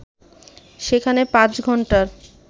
সেখানে পাঁচ ঘন্টা